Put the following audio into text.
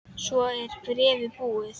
Svo er bréfið búið